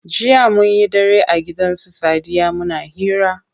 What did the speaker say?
Jiya munyi dare a gidan su sadiya muna hira.